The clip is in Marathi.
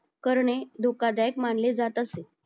करणे धोकादायक मानले जात असेल